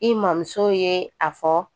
I mamuso ye a fɔ